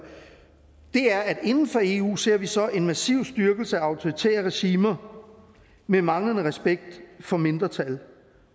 er at inden for eu ser vi så en massiv styrkelse af autoritære regimer med manglende respekt for mindretal